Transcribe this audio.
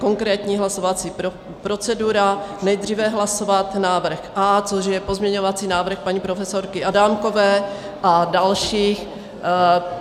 Konkrétní hlasovací procedura: nejdříve hlasovat návrh A, což je pozměňovací návrh paní profesorky Adámkové a dalších.